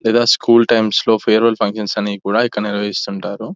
ఇలా school times లో farewell functions అని కూడా ఇక్కడ నిర్వహిస్తుంటారు --